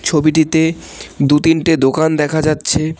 ছবিটিতে দু তিনটে দোকান দেখা যাচ্ছে।